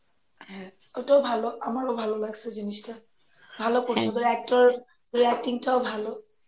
হ্যাঁ ,ওটাও ভালো আমার ভালো লাগসে জিনিসটা ভালো করছে ওদের actor ওদের acting টাও ভালো